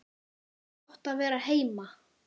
Gott að vera heima!